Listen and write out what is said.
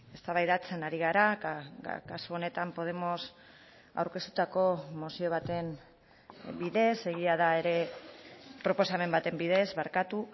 eztabaidatzen ari gara kasu honetan podemos aurkeztutako mozio baten bidez egia da ere proposamen baten bidez barkatu